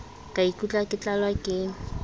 ka ikutlwa ke tlalwa ke